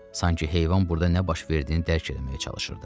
Sanki heyvan burda nə baş verdiyini dərd eləməyə çalışırdı.